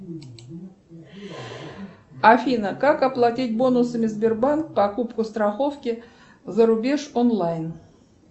афина как оплатить бонусами сбербанк покупку страховки зарубеж онлайн